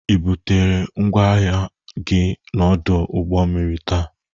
I butere ngwa ahịa gị n'ọdụ ụgbọ mmiri taa?